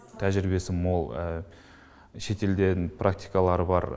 тәжірибесі мол шетелден практикалары бар